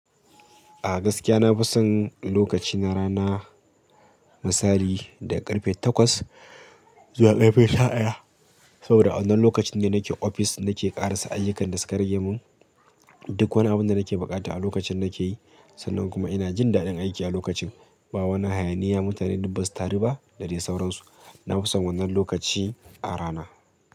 A gaskiya na fi son lokacina rana misali daga karfe takwas zuwa karfe tara. Saboda wannan lokacin ne nake ofis nake ƙarasa ayyukan da suka rage mun. Duk wani abu da nake buƙata a lokacin nake yi, sannan kuma ina jin daɗin aiki a lokacin. Ba wani hayaniya mutane dubbasu ta ruba da dai sauransu. Na fi son wannan lokaci a rana.